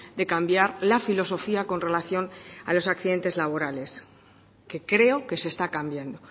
de cambiar la filosofía con relación a los accidentes laborales que creo que se está cambiando